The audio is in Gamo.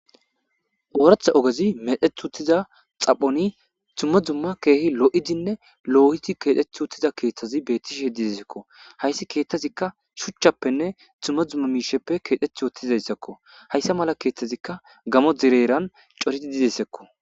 ooratha ogezi medheth uttiza xaphoni tumma dzumma keehi lo7idinne loohiti keexeth uttiza keeththazi bettishi heddidesekko hayssi keeththazikka shuchchappenne tumma dzumma miisheppe keexeth wotthizayssakko hayssa mala keeththazikka gamo direeran coridi didessekko